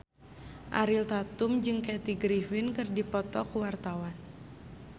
Ariel Tatum jeung Kathy Griffin keur dipoto ku wartawan